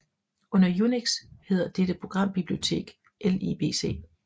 Under UNIX hedder dette programbibliotek libc